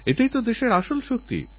আমাদের হয়ে এইকাজ করার জন্য আমি তৈরি